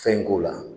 Fɛn in k'o la